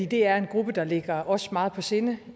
det er en gruppe der ligger os meget på sinde